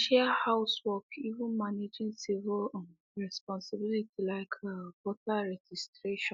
they share house work even managing civic um responsibilities like um voter registration